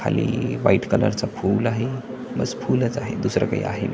खाली white colour चा फूल आहे बस फुलच आहे दुसरं काही आहे नाही.